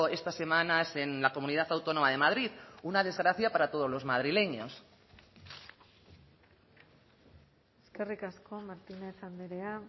estas semanas en la comunidad autónoma de madrid una desgracia para todos los madrileños eskerrik asko martínez andrea